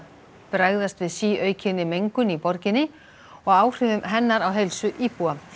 bregðast við síaukinni mengun í borginni og áhrifum hennar á heilsu íbúa